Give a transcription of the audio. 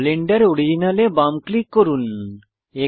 Blender original এ বাম click করুন